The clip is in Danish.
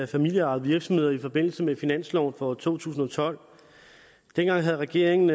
familieejede virksomheder i forbindelse med finansloven for to tusind og tolv dengang havde regeringen